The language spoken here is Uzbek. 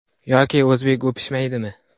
Yoki o‘zbek o‘pishmaydimi?